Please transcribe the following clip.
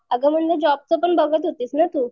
अगं म्हणलं जॉबचं पण बघत होतीस ना तू?